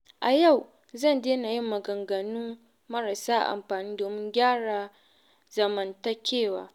A yau zan daina yin maganganu marasa amfani domin gyara zamantakewa.